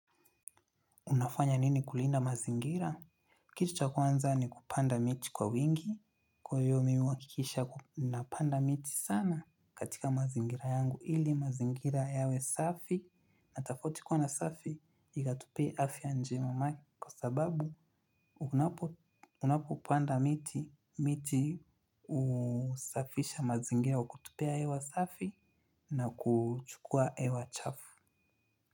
Unafanya nini kulinda mazingira? Kitu cha kwanza ni kupanda miti kwa wingi. Kwa hiyo mimi uhakikisha napanda miti sana. Katika mazingira yangu ili mazingira yawe safi. Na tofauti kuwa na safi, ikatupia afya njema kwa sababu unapopanda miti, miti husafisha mazingira wa kutupea hewa safi na kuchukua hewa chafu.